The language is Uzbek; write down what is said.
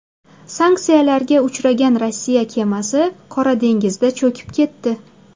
Sanksiyalarga uchragan Rossiya kemasi Qora dengizda cho‘kib ketdi.